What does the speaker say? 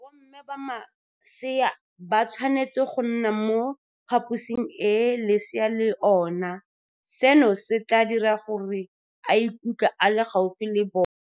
Bomme ba masea ba tshwanetse go nna mo phaposing e leesi le ona, seno se tla dira gore a ikutlwe a le gaufi le bona.